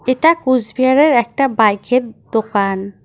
এটা কুচবিহারের একটা বাইকের দোকান।